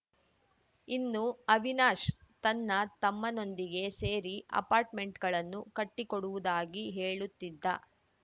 ಇನ್ನು ಅವಿನಾಶ್‌ ತನ್ನ ತಮ್ಮನೊಂದಿಗೆ ಸೇರಿ ಅಪಾರ್ಟ್‌ಮೆಂಟ್‌ಗಳನ್ನು ಕಟ್ಟಿಕೊಡುವುದಾಗಿ ಹೇಳುತ್ತಿದ್ದ